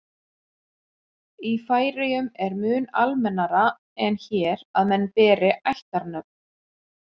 í færeyjum er mun almennara en hér að menn beri ættarnöfn